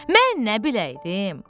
Mən nə biləydim?